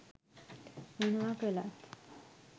මොනවා කළත්